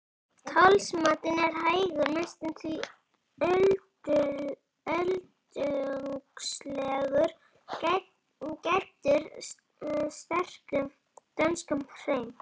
Talsmátinn er hægur, næstum því öldungslegur, gæddur sterkum dönskum hreim.